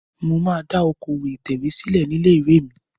Mo máa dá okòwò ìtẹ̀wé sílẹ̀ ní ilé-ìwé mi.